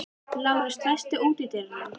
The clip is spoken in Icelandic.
Lárus, læstu útidyrunum.